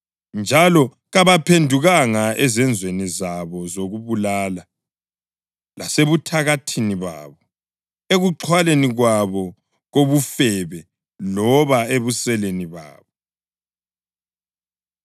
Njalo kabaphendukanga ezenzweni zabo zokubulala, lasebuthakathini babo, ekuxhwaleni kwabo kobufebe loba ebuseleni babo.